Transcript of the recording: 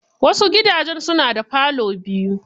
Wasu gidajen suna da falo biyu.